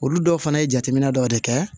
Olu dɔw fana ye jateminɛ dɔ de kɛ